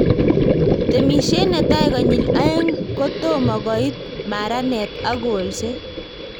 Temishe netai konyil oeng' kotomokoit maranet ak kolset